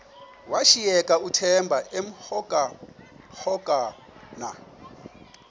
washiyeka uthemba emhokamhokana